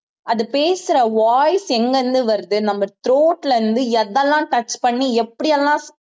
அது பேசுற voice எங்க இருந்து வருது நம்ம throat ல இருந்து எதெல்லாம் touch பண்ணி எப்படி எல்லாம்